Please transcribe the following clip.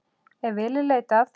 Ef vel er leitað.